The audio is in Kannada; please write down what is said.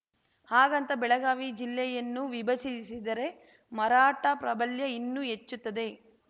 ಹಾಗಂತ ಬೆಳಗಾವಿ ಜಿಲ್ಲೆಯನ್ನು ವಿಭಜಿಸಿದರೆ ಮರಾಠ ಪ್ರಾಬಲ್ಯ ಇನ್ನೂ ಹೆಚ್ಚುತ್ತದೆ